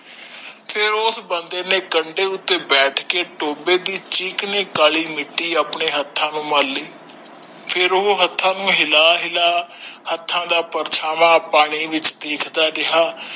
ਫੇਰ ਓਸ ਬੰਦੇ ਨੇ ਕੰਡੇ ਉਤੇ ਬੈਠ ਕੇ ਟੋਬੇ ਦੀ ਚੀਕਣੀ ਕਾਲੀ ਮਿੱਟੀ ਆਪਣੇ ਹੱਥਾਂ ਨੂੰ ਮੱਲ ਲੀ ਫੇਰ ਉਹ ਹੱਥਾਂ ਨੂੰ ਹਿੱਲਾ ਹਿੱਲਾ ਹੱਥਾਂ ਦਾ ਪਰਛਾਵਾਂ ਪਾਣੀ ਵਿਚ ਦੇਖਦਾ ਰਿਹਾ